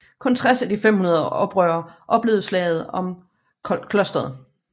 Kun 60 af de 500 oprørere overlevede slaget om klosteret